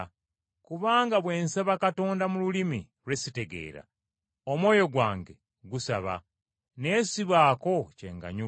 Kubanga bwe nsaba Katonda mu lulimi lwe sitegeera, omwoyo gwange gusaba, naye sibaako kye nganyulwa.